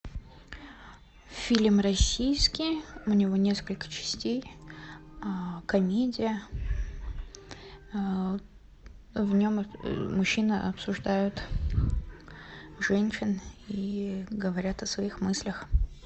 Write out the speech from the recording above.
фильм российский у него несколько частей комедия в нем мужчины обсуждают женщин и говорят о своих мыслях